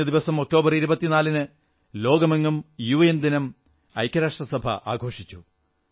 കഴിഞ്ഞദിവസം ഒക്ടോബർ 24 ന് ലോകമെങ്ങും യുഎൻ ദിനം ഐക്യരാഷ്ട്രസഭ ആഘോഷിച്ചു